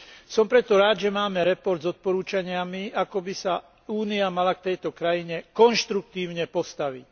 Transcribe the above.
Som preto rád, že máme report z odporúčaniami, ako by sa Únia mala k tejto krajine konštruktívne postaviť.